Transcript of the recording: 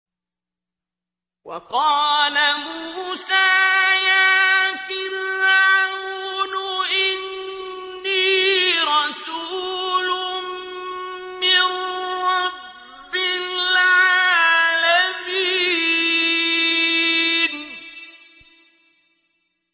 وَقَالَ مُوسَىٰ يَا فِرْعَوْنُ إِنِّي رَسُولٌ مِّن رَّبِّ الْعَالَمِينَ